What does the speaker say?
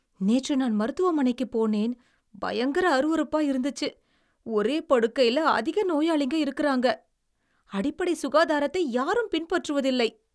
நேற்று நான் மருத்துவமனைக்குப் போனேன். பயங்கர அருவருப்பா இருந்துச்சு. ஒரே படுக்கையில அதிக நோயாளிங்க இருக்குறாங்க, அடிப்படை சுகாதாரத்தை யாரும் பின்பற்றுவதில்லை.